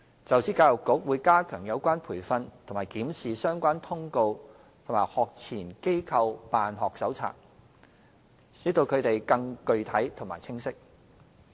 就此，教育局會加強有關培訓及檢視相關通告和《學前機構辦學手冊》，使其更具體和清晰。